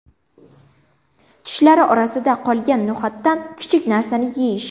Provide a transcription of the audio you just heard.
Tishlari orasida qolgan no‘xatdan kichik narsani yeyish.